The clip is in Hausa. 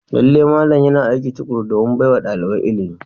Lallai malam yana aiki tukuru domin baiwa dalibai ilimi.